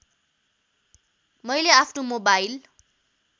मैले आफ्नो मोबाइल